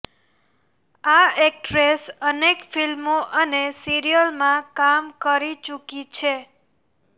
આ એક્ટ્રેસ અનેક ફિલ્મો અને સિરિયલમાં કામ કરૂ ચૂકી છે